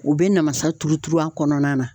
U bɛ namasa turu turu a kɔnɔna na.